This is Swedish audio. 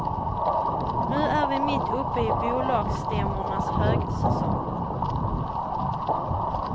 Nu är vi mitt uppe i bolagsstämmornas högsäsong.